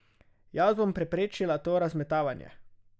Jaz bom preprečila to razmetavanje!